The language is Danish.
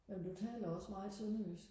ja men du taler også meget sønderjysk